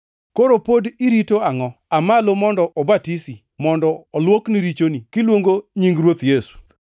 Koro pod irito angʼo? Aa malo mondo obatisi, mondo olwokni richoni, kiluongo nying Ruoth Yesu.’